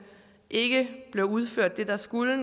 ikke blev udført det der skulle